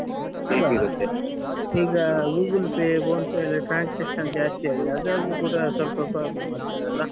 ಹೌದಲ್ಲಾ ಈಗ Google Pay Phonepe ಯಲ್ಲ transaction ಜಾಸ್ತಿ ಆದ್ರೆ ಅದ್ರಲ್ಲೂ ಕೂಡ ಸ್ವಲ್ಪ problem ಆಗ್ತಾದಲ್ಲ.